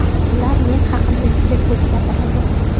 Ular men haqimda juda ko‘p gapiradi.